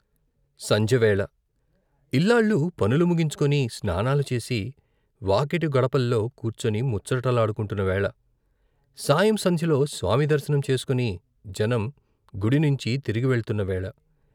సంజెవేళ ఇల్లాళ్ళు పనులు ముగించుకొని, స్నానాలు చేసి, వాకిటి గడపల్లో కూర్చుని ముచ్చటలాడుకుంటున్న వేళ సాయం సంధ్యలో స్వామి దర్శనం చేసుకుని జనం గుడినించి తిరిగివెళ్తున్న వేళ